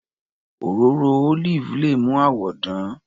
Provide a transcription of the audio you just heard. Òróró olive le mú àwọ dán.